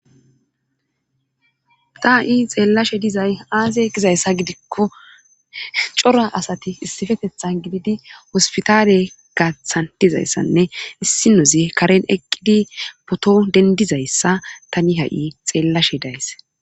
ta7i xeellashe dizay aaze gizayssa gidikko cora asati issifetethan gididi hospitaare gaathan dizayssanne issi nozi karen eqqidi poto dendizayssa tani ha7i xeellashe days